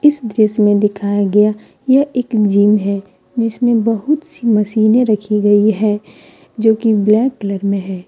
इस दृश्य में दिखाया गया यह एक जिम है जिसमे बहुत सी मशीनें रखी गई हैं जो कि ब्लैक कलर में हैं।